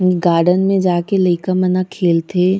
इ गार्डन में जाके लइका मन ह खेलथे --